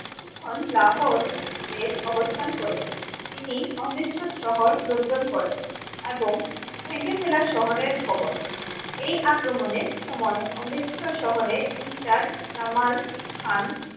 কিছুক্ষন লাহোর দের অবস্থান করেছে, তিনি অমৃতসর শহর দন্তন করেন এবং ভেঙ্গে ফেলার শহরের ভবন এই আক্রমনে সময় অমৃর্ত্সর শহরে ইন্টার জামাল খান